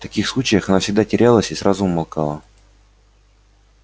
в таких случаях она всегда терялась и сразу умолкала